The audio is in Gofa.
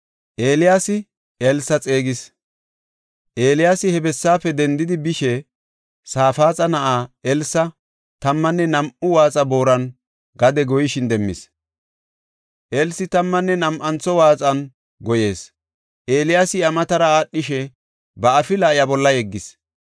Eeliyaasi he bessaafe dendidi bishe Safaaxa na7ay Elsi tammanne nam7u waaxa booran gade goyishin demmis; Elsi tammanne nam7antho waaxan goyees. Eeliyaasi iya matara aadhishe ba afila iya bolla yeggis.